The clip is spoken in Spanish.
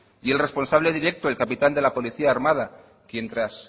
y otro responsable directo el capitán de la policía armada quien tras